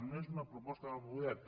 no és una proposta del govern